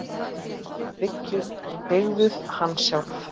Þið byggðuð hann sjálf.